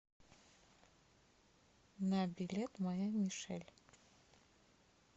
на билет моя мишель